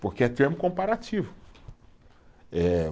Porque é termo comparativo, eh